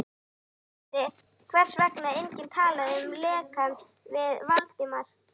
Hún vissi, hvers vegna enginn talaði um lekann við Valdimar.